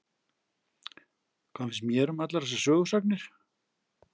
Hvað finnst mér um allar þessar sögusagnir?